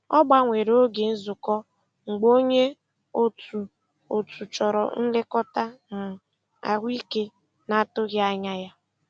Ọ gbanwere oge nzukọ mgbe onye otu otu chọrọ nlekọta um ahụike na-atụghị anya ya.